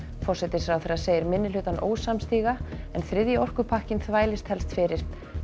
forsætisráðherra segir minnihlutann ósamstíga en þriðji orkupakkinn þvælist helst fyrir